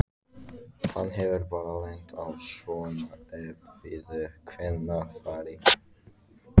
Hann hefur bara lent á svona erfiðu kvennafari